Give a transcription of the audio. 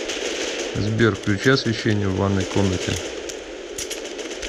сбер включи освещение в ванной комнате